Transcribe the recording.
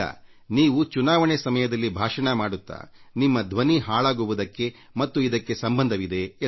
ನೀವು ಚುನಾವಣೆ ಸಮಯದಲ್ಲಿ ಭಾಷಣ ಮಾಡುತ್ತಾ ನಿಮ್ಮ ಧ್ವನಿ ಹಾಳಾಗುವುದಕ್ಕೆ ಮತ್ತು ಇದಕ್ಕೆ ಸಂಬಂಧವಿದೆ ಎಂದರು